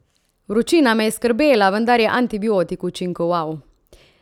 Vročina me je skrbela, vendar je antibiotik učinkoval.